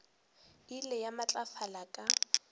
e ile ya matlafala ka